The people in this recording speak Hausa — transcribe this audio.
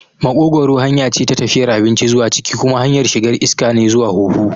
Maƙogwaro hanya ce ta tafiyar abinci zuwa ciki kuma hanyar shigar iska ne zuwa huhu.